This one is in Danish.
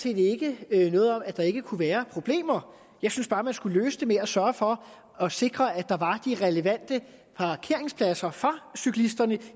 ikke noget om at der ikke kunne være problemer jeg synes bare man skulle løse dem ved at sørge for at sikre at der var de relevante parkeringspladser for cyklisterne